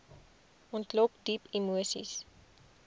ontlok diep emoseis